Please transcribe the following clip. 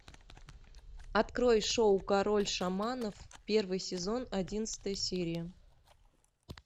открой шоу король шаманов первый сезон одиннадцатая серия